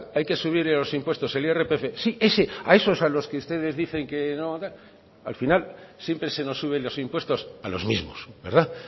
hay que subir los impuestos el irpf sí a esos a los que ustedes dicen que no o tal al final siempre se nos suben los impuestos a los mismos verdad